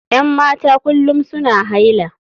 Yan mata kullum suna haila.